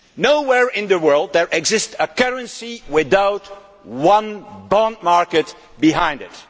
Nowhere in the world is there a currency without one bond market behind it.